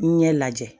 Ɲɛ lajɛ